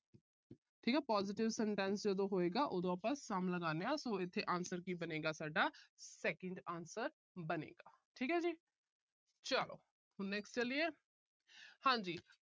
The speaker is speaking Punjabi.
ਠੀਕ ਹੈ। positive sentence ਜਦੋਂ ਹੋਏਗਾ, ਉਦੋਂ ਆਪਾ some ਲਗਾਂਦੇ ਹਾਂ। so ਇੱਥੇ answer ਕੀ ਬਣੇਗਾ ਸਾਡਾ, second answer ਬਣੇਗਾ। ਠੀਕ ਹੈ ਜੀ। ਚਲੋ। next ਚਲੀਏ। ਹਾਂਜੀ।